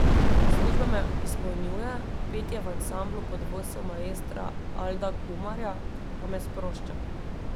Služba me izpolnjuje, petje v ansamblu pod vodstvom maestra Alda Kumarja pa me sprošča.